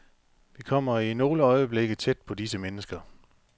Vi kommer i nogle øjeblikke tæt på disse mennesker.